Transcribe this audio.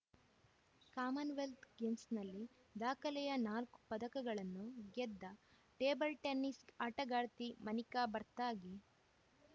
Commonwealth ಗೇಮ್ಸ್‌ನಲ್ಲಿ ದಾಖಲೆಯ ನಾಲ್ಕು ಪದಕಗಳನ್ನು ಗೆದ್ದ ಟೇಬಲ್‌ ಟೆನಿಸ್‌ ಆಟಗಾರ್ತಿ ಮನಿಕಾ ಬಾತ್ರಾಗೆ